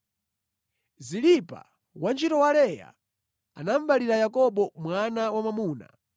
Zilipa, wantchito wa Leya, anaberekera Yakobo mwana wamwamuna.